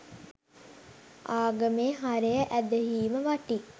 ආගමේ හරය ඇදහීම වටී.